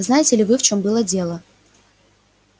знаете ли вы в чем было дело